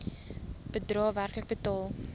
bedrae werklik betaal